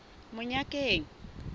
monyakeng